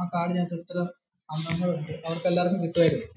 ആ കാർഡിന് അകത്തു ഇത്ര അംഗങ്ങൾ ഉണ്ട് അവര്ക് എല്ലാര്ക്കും കിട്ടുവായിരുന്നു.